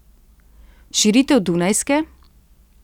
Širitev Dunajske?